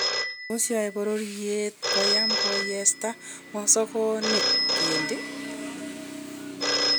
Tos yae bororyeet koyaam koyeshaa mosokeniik kentiiy?